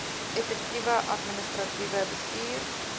effektiewe administratiewe bestuur